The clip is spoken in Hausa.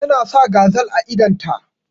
Ta na sa gazal a idon ta.